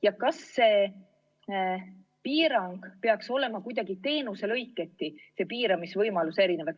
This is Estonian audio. Ja kas see piiranguvõimalus peaks olema kuidagi teenuselõiketi erinev?